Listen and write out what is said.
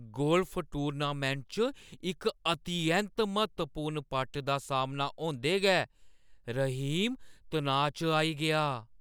Golf tournament च इक अतिऐंत्त म्हत्तवपूर्ण पट दा सामना होंदे गै रहीम तनाऽ च आई गेआ ।